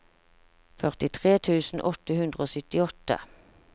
førtitre tusen åtte hundre og syttiåtte